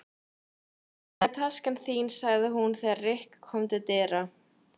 Hérna er taskan þín sagði hún þegar Rikka kom til dyra.